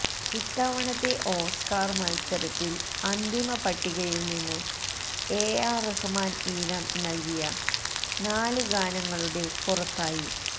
ഇത്തവണത്തെ ഓസ്കർ മത്സരത്തിന്റെ അന്തിമ പട്ടികയിൽനിന്ന് എ ആർ റഹ്മാൻ ഈണം നൽകിയ നാലു ഗാനങ്ങളുടെ പുറത്തായി